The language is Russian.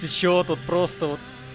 чего тут просто